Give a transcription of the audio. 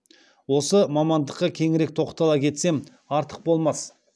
осы мамандыққа кеңірек тоқтала кетсем артық болмас